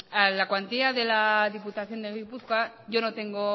a la cuantía de la diputación de gipuzkoa yo no tengo